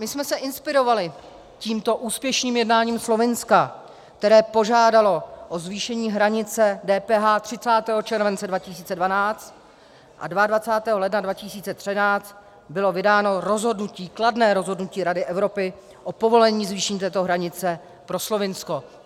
My jsme se inspirovali tímto úspěšným jednáním Slovinska, které požádalo o zvýšení hranice DPH 30. července 2012 a 22. ledna 2013 bylo vydáno rozhodnutí, kladné rozhodnutí Rady Evropy (?) o povolení zvýšení této hranice pro Slovinsko.